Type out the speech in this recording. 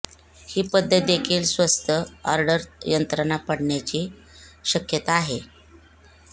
ही पद्धत देखील स्वस्त ऑर्डर यंत्रणा पडण्याची शक्यता आहे